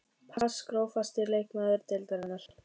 pass Grófasti leikmaður deildarinnar?